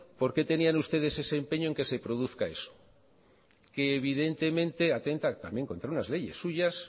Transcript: por qué tenían ustedes ese empeño en que se produzca eso que evidentemente atenta también contra unas leyes suyas